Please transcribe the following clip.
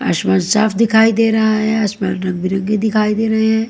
आसमान साफ दिखाई दे रहा हैं आसमान रंगबिरंगी दिखाई दे रहें हैं।